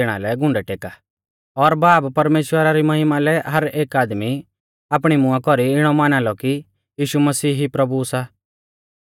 और बाब परमेश्‍वरा री महिमा लै हर एक आदमी आपणै मुंआ कौरी इणौ माना लौ कि यीशु मसीह ई प्रभु सा